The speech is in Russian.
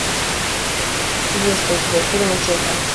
есть ли у тебя фильм училка